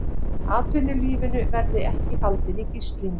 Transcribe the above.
Atvinnulífinu verði ekki haldið í gíslingu